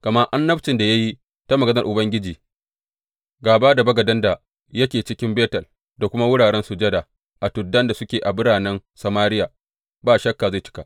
Gama annabcin da ya yi ta maganar Ubangiji gāba da bagaden da yake cikin Betel da kuma wuraren sujada a tuddan da suke a biranen Samariya, ba shakka zai cika.